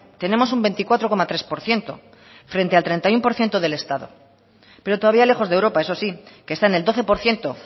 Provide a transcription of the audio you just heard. tenemos un veinticuatro coma tres por ciento frente al treinta y uno por ciento del estado pero todavía lejos de europa eso sí que está en el doce por ciento